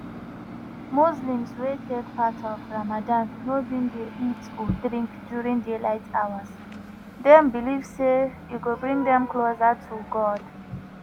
muslims wey take part for ramadan no bin dey eat or drink during daylight hours dem believe say e go bring dem closer to god.